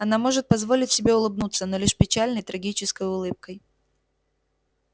она может позволить себе улыбнуться но лишь печальной трагической улыбкой